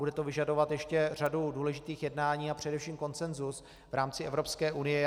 Bude to vyžadovat ještě řadu důležitých jednání a především konsenzus v rámci Evropské unie.